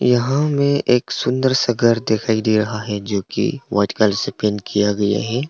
यहां में एक सुंदर सा घर दिखाई दे रहा है जो की व्हाइट कलर से पेंट किया गया है।